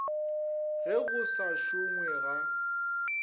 ge go sa šongwe ga